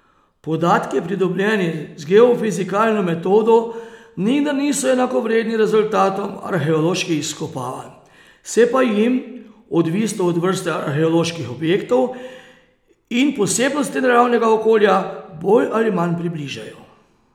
Podatki pridobljeni z geofizikalno metodo nikdar niso enakovredni rezultatom arheoloških izkopavanj, se pa jim, odvisno od vrste arheoloških objektov in posebnosti naravnega okolja, bolj ali manj približajo.